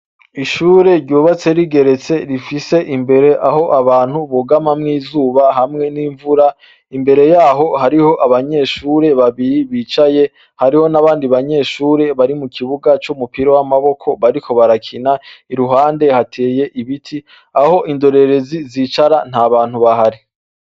Ishure ryubatse rigeretse rifise imbere aho abantu bugamamwo izuba hamwe n'imvura. Imbere y'aho hariho abanyeshure babiri bicaye, hariho n'abandi banyeshure bari mu kibuga c'umupira w'amaboko bariko barakina. Iruhande hateye ibiti, aho indorerezi zicara nta bantu bahari.